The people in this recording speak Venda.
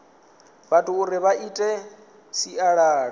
vhathu uri vha ite sialala